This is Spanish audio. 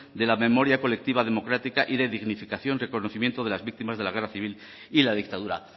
de la memoria colectiva democrática y de dignificación reconocimiento de las víctimas de la guerra civil y la dictadura